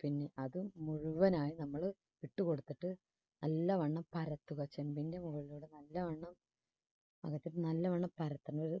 പിന്നെ അത് മുഴുവനായി നമ്മൾ ഇട്ടുകൊടുത്തിട്ട് നല്ലവണ്ണം പരത്തുക. ചെമ്പിന്റെ മുകളിലൂടെ നല്ലവണ്ണം അത് നല്ലവണ്ണം പരത്തണത്